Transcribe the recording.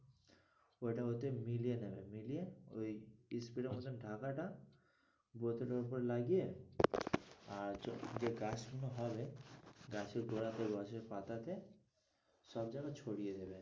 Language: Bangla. ওইটা ওতে মিলিয়ে নেবে মিলিয়ে ওই spray এর মতো ঢাকাটা বোতলের উপর লাগিয়ে আর যে গাছ গুলো হবে গাছের গোড়াতে গাছের পাতাতে সব জায়গাই ছড়িয়ে দেবে।